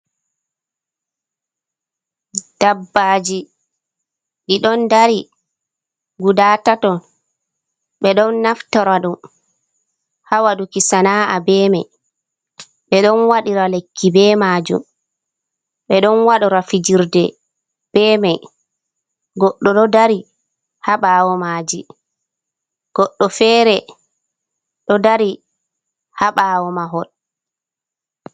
"Ɓabbaji" Ɗi ɗon dari guda taton ɓe ɗon naftora ɗum ha waduki sana’a be mai ɓe ɗon wadira lekki be majum ɓe ɗon wadora fijirde be mai goɗɗo ɗo dari ha bawo maji goɗɗo fere ɗo dari ha bawo mahol.